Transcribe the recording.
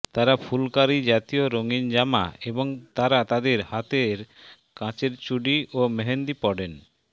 তারা ফুলকারী জাতীয় রঙীন জামা এবং তারা তাদের হাতে কাচের চুডি ও মেহেন্দী পডেন